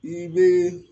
I bɛ